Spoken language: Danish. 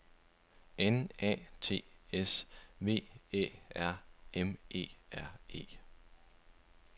N A T S V Æ R M E R E